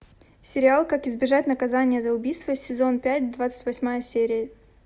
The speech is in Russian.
сериал как избежать наказания за убийство сезон пять двадцать восьмая серия